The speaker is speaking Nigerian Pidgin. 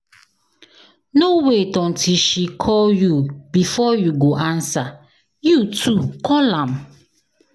No wait until she call you before you go answer, you too call am.